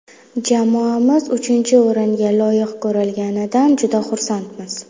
Jamoamiz uchinchi o‘ringa loyiq ko‘rilganidan juda xursandmiz.